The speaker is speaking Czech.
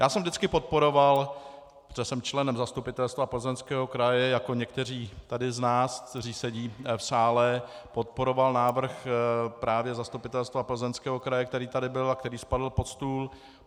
Já jsem vždycky podporoval, protože jsem členem Zastupitelstva Plzeňského kraje, jako někteří tady z nás, kteří sedí v sále, podporoval návrh právě Zastupitelstva Plzeňského kraje, který tady byl a který spadl pod stůl.